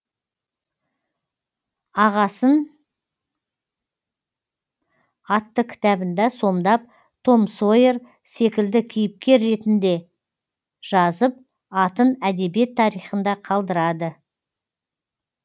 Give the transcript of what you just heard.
ағасын атты кітабында сомдап том сойер секілді кейіпкер ретінде жазып атын әдебиет тарихында қалдырады